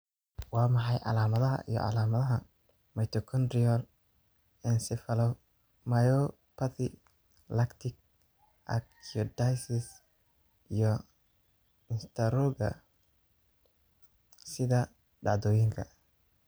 Waa maxay calamadaha iyo calaamadaha Mitochondrial encephalomyopathy lactic acidosis iyo istaroogga sida dhacdooyinka?